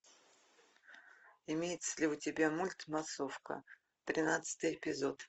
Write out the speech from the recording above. имеется ли у тебя мульт массовка тринадцатый эпизод